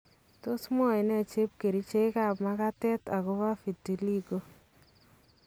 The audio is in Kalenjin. Tos mwoe ne chepkerichek kap makatet akobo vitiligo.